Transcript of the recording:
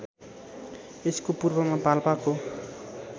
यसको पूर्वमा पाल्पाको